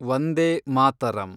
Vande Mataram